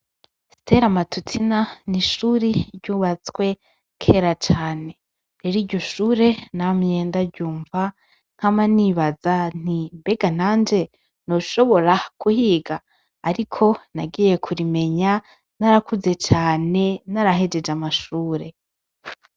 Stera Matutina ni ishuri ryubatswe kera cane, rero iryo shuri namye ndaryumva, nkama nibaza nti: "Mbega nanje noshobora kuhiga?", ariko nagiye kurimenya narakuze cane narahejeje amashuri.